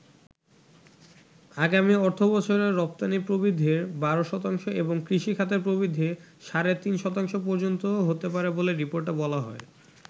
আগামি অর্থবছরে রপ্তানি প্রবৃদ্ধি ১২ শতাংশ এবং কৃষি খাতের প্রবৃদ্ধি সাড়ে তিন শতাংশ পর্যন্ত হতে পারে বলে রিপোর্টে বলা হয়।